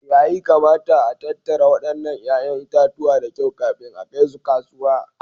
Yayi kamata a tattara wadannan 'ya'yan itatuwa da kyau kafin a kai su kasuwa